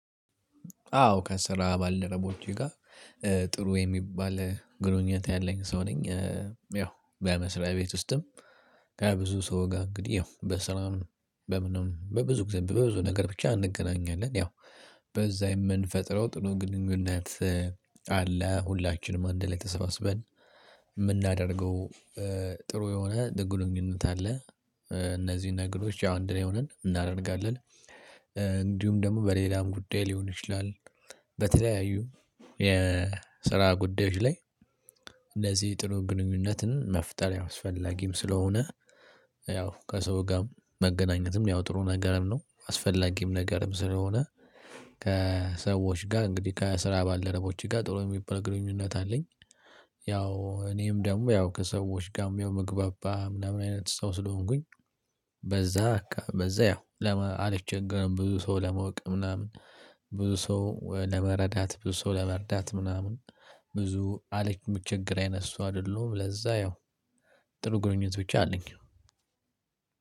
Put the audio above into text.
አዎ ከስራ ባልደረቦቼ ጋር ጥሩ የሚባል ግንኙነት ያለኝ ሰው ነኝ። ያው በመስሪያ ቤት ውስጥም ከብዙ ሰው ጋር እንግዲህ ያው በሰላም በምንም በብዙ ጊዜ በብዙ ነገር ብቻ እንገናኛለን ያው በዛ የምንፈጥረው ጥኑ ግንኙነት አለ ሁላችንም አንድላይ ተሰባስበን የምናደርገው ጥሩ የሆነ ደግ ግኑኝነት አለ። እነዚህን ነገሮች ያው አንድላይ ሆነን እናደርጋለን። እንዲሁም ደግሞ በሌላም ጉዳይ ሊሆን ይችላል። በተለያዩ የስራ ጉዳዮች ላይ እንደዚህ ጥሩ ግንኙነትን መፍጠር አስፈላጊም ስለሆነ ያው ከሰው ጋር መገናኘትም ያው ጥሩ ነገርም ነው አስፈላጊም ነገርም ስለሆነ። ከሰዎች ጋር እንግዲህ ከስራ ባልደረቦቼ ጋር ጥሩ የሚባል ግንኙነት አለኝ። ያው እኔም ደግሞ ያው ከሰዎች ጋር ያው መግባባ ምናምን አይነት ሰው ስለሆንኩኝ በዛ በቃ በዛ ያው አልቸገረም ብዙ ሰው ለመወቅ ምናምን ብዙ ሰው ለመረዳት ብዙ ሰው ለመርዳት ምናምን ብዙ አለ የሚቸገር አይነት ሰው አይደለሁም። ለዛ ያው ጥሩ ግንኙነት ብቻ አለኝ